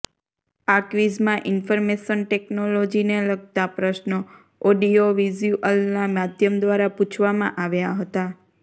આ ક્વીઝમાં ઇન્ફેર્મેશન ટેકનોલોજીને લગતા પ્રશ્નો ઓડીઓવિસ્યુઅલના માધ્યમ દ્વારા પૂછવામાં આવ્યા હતા